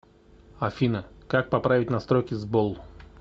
афина как поправить настройки сбол